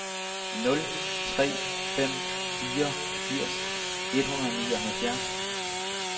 nul tre fem fire firs et hundrede og nioghalvfjerds